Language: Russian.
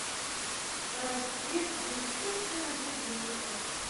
расцвет бесчувственных ублюдков